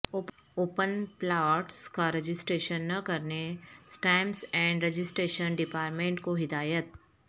open plots کا registration نہ کرنے اسٹامپس اینڈ رجسٹریشن ڈپارٹمنٹ کو ہدایت